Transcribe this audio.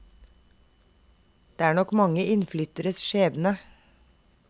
Det er nok mange innflytteres skjebne.